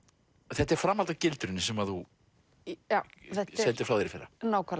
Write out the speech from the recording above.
þetta er framhald af gildrunni sem þú sendir frá þér í fyrra